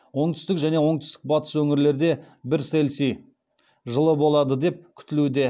оңтүстік және оңтүстік батыс өңірлерде бір цельси жылы болады деп күтілуде